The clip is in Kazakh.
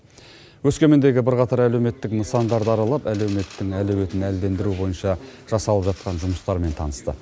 өскемендегі бірақтар әлеуметтік нысандарды аралап әлеуметтің әлеуетін әлдендіру бойынша жасалып жатқан жұмыстармен танысты